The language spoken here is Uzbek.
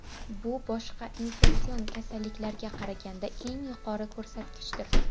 Bu boshqa infeksion kasalliklarga qaraganga eng yuqori ko‘rsatkichdir.